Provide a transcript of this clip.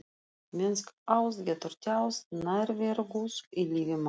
Mennsk ást getur tjáð nærveru Guðs í lífi manna.